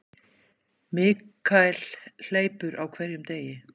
Michael hleypur á hverjum degi.